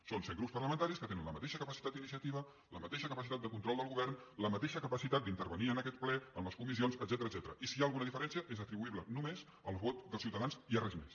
són set grups parlamentaris que tenen la mateixa capacitat d’iniciativa la mateixa capacitat de control del govern la mateixa capacitat d’intervenir en aquest ple en les comissions etcètera i si hi ha alguna diferència és atribuïble només al vot dels ciutadans i a res més